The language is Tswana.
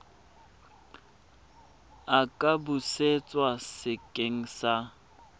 a ka busetswa sekeng sa